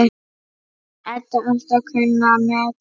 Edda alltaf kunnað að meta.